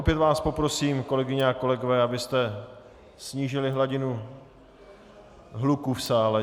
Opět vás poprosím, kolegyně a kolegové, abyste snížili hladinu hluku v sále.